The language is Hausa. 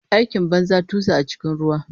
Aikin banza, tusa a cikin ruwa.